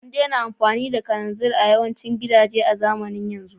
An daina amfani da murhun kananzir a yawancin gidaje a zamanin yau